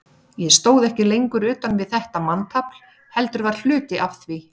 Ég stóð ekki lengur utan við þetta manntafl, heldur var hluti af því.